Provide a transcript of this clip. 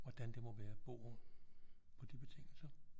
Hvordan det må være at bo på de betingelser